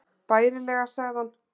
Bærilega sagði hann.